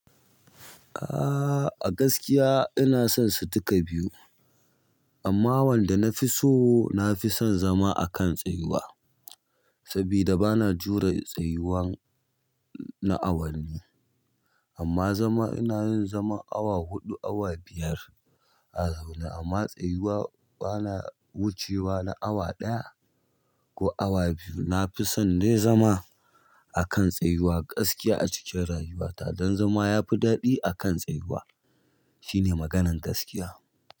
Ah, a gaskiya ina son su duka biyu. Amma wanda na fi so na fi son zama a kan tsayuwa. Saboda bana jure tsayuwan na awanni. Amma zama, inayin zaman awa huɗu, awa biyar a zaune amma tsayuwa bana wucewa na awa ɗaya ko awa biyu. Na fi son dai zama a kan tsayuwa gaskiya a cikin rayuwata. Don zama ya fi ɗaɗi a kan tsayuwa. Shine maganan gaskiya.